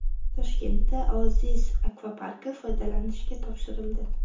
Toshkentda Oasis akvaparki foydalanishga topshirildi .